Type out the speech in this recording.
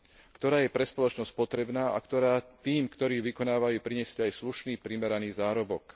ktorá je pre spoločnosť potrebná, a ktorá tým, ktorí ju vykonávajú, prinesie aj slušný primeraný zárobok.